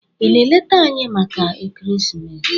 Ị na-eleta anyị maka ekeresimesi?